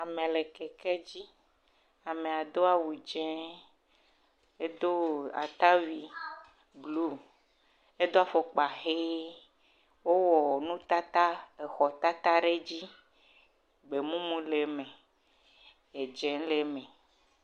Ame le kekedzi. Amea do awu dzẽ. Edo atawui bluu. Edo afɔkpa ʋee. Wowɔ nutata, exɔtata ɖe edzi. Gbemum le eme. Edzẽ le eme.